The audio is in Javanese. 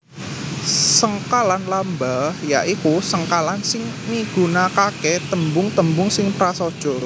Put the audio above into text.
Sengkalan lamba ya iku sengkalan sing migunakaké tembung tembung sing prasaja